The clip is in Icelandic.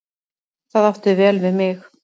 Það átti vel við þig.